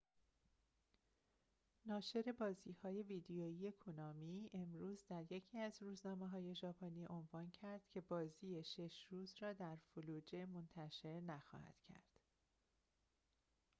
ناشر بازی‌های ویدئویی کونامی امروز در یکی از روزنامه‌های ژاپنی عنوان کرد که بازی شش روز را در فلوجه منتشر نخواهند کرد